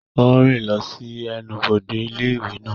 Ó ń rìn lọ sí ẹnubodè ilé ìwé náà.